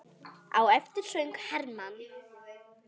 Á eftir söng Hermann